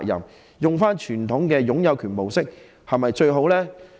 使用傳統的擁有權模式是否最好呢？